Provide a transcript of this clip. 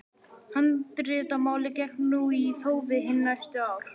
Handritamálið gekk nú í þófi hin næstu ár.